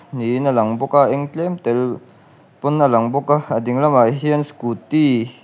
niin a lang bawk a a eng tlem tel pawn a lang bawk a a ding lamah hian scooty --